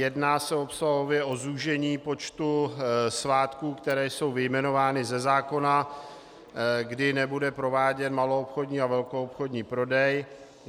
Jedná se obsahově o zúžení počtu svátků, které jsou vyjmenovány ze zákona, kdy nebude prováděn maloobchodní a velkoobchodní prodej.